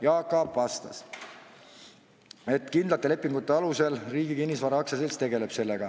Jaak Aab vastas, et kindlate lepingute alusel Riigi Kinnisvara AS sellega tegeleb.